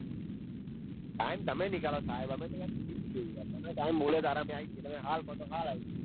time મે નીકળો સાહેબ અમે તો યાર ફરી જ છીએ યાર તમને ટાઈમ મળે તારે આવી જઈએ તમે હાલ કો તો હાલ એ જઈએ.